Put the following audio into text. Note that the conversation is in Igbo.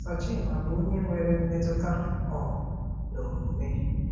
Sochimma bụ onye nwere mmetụta um na omume